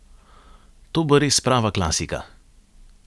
To bo res prava klasika.